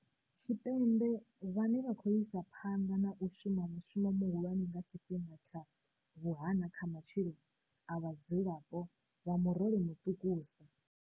Tshipembe vhane vha khou isa phanḓa na u shuma mushumo muhulwane nga tshifhinga tsha vhuhana kha matshilo a vha dzulapo vha murole muṱukusa.